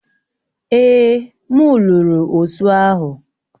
Èè, m lụrụ osụ ahu